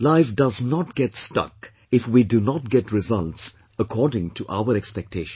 Life does not get stuck if we do not get results according to our expectations